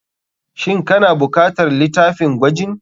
Shin kana bukatar litafin gwajin.